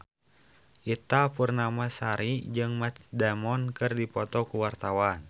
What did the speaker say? Ita Purnamasari jeung Matt Damon keur dipoto ku wartawan